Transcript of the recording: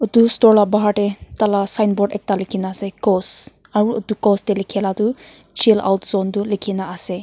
etu store laga bahar te ekta laga sign board ekta likhe na ase cos aru etu cos te likhe laga tu chil out zone tu likhe kina ase.